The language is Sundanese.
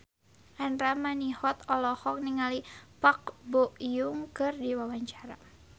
Andra Manihot olohok ningali Park Bo Yung keur diwawancara